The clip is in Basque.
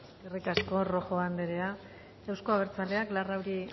eskerrik asko rojo anderea euzko abertzaleak larrauri